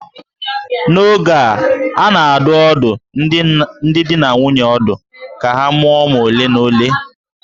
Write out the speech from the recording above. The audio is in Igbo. N'oge a, a na-adụ ọdụ ndị di na nwunye ọdụ ka ha mụọ ụmụ ole na ole